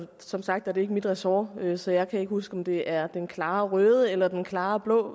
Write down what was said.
som sagt er det ikke mit ressort så jeg kan ikke huske om det er med den klare røde eller den klare blå